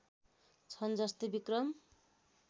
छन् जस्तै विक्रम